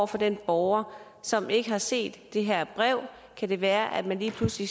for den borger som ikke har set det her brev kan det være at man lige pludselig